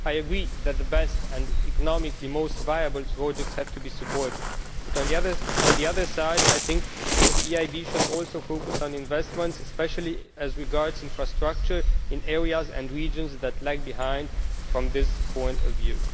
I agree that the best and economically most viable projects have to be supported but, on the other hand, I think the EIB should also focus on investments, especially as regards infrastructure, in areas and regions that lag behind from this point of view.